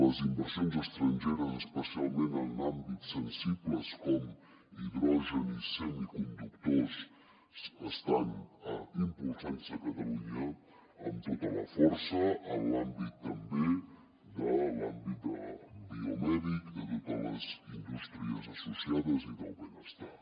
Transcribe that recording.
les inversions estrangeres especialment en àmbits sensibles com hidrogen i semiconductors estan impulsant se a catalunya amb tota la força en l’àmbit també biomèdic i de totes les indústries associades i del benestar